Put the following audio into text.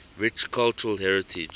rich cultural heritage